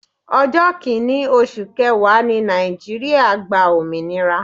Ọjọ́ kini oṣù kẹwàá ni Nàìjíríà gba òmìnira.